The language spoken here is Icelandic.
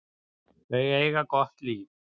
Þau eiga gott líf.